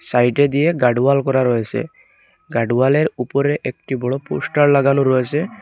Side -এ দিয়ে guard wall করা রয়েছে গার্ড ওয়াল -এর উপরে একটি বড়ো পোস্টার লাগানো রয়েসে।